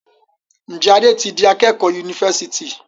Njé Ade tí dì akékò Yunifásitì?